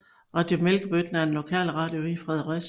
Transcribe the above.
Radio Mælkebøtten er en lokalradio i Fredericia